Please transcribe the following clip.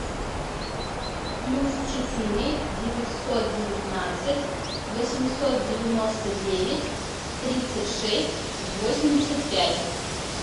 плюс четыре девятьсот девятнадцать восемьсот девяносто девять тридцать шесть восемьдесят пять